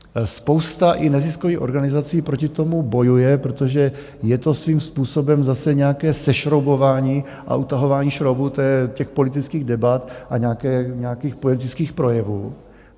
Spousta i neziskových organizací proti tomu bojuje, protože je to svým způsobem zase nějaké sešroubování a utahování šroubů těch politických debat a nějakých politických projevů.